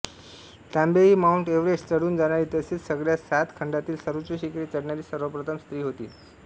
Tabei Mount Everest चढून जाणारी तसेच सगळ्या सात खंडांतील सर्वोच्च शिखरे चढणारी सर्वप्रथम स्त्री होती